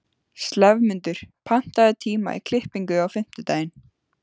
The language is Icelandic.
slefmundur, pantaðu tíma í klippingu á fimmtudaginn.